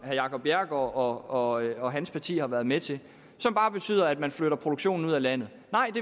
no jacob bjerregaard og og hans parti har været med til som bare betyder at man flytter produktionen ud af landet